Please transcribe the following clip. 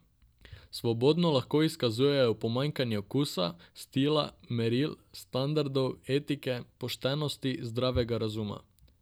Svobodno lahko izkazujejo pomanjkanje okusa, stila, meril, standardov, etike, poštenosti, zdravega razuma.